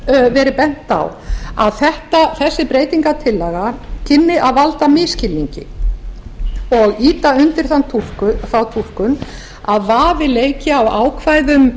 hefur verið bent á að þessi breytingartillaga kynni að valda misskilningi og ýta undir þá túlkun að vafi leiki á ákvæðum